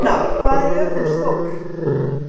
Hrafntinna, hvað er jörðin stór?